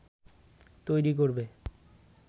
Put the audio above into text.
তৈরী করবে